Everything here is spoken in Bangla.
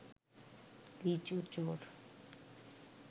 লিচু চোর